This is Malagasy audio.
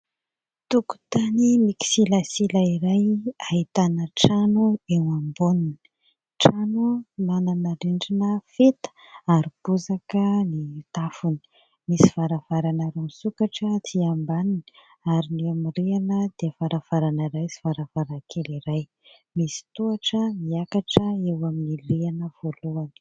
Tokotany mikisilasila iray ahitana trano eo amboniny. Trano manana rindrina feta ary bozaka ny tafony, misy varavarana roa misokatra aty ambaniny ary ny amin'ny rihana dia varavarana iray sy varavarankely iray, misy tohatra miakatra eo amin'ny rihana voalohany.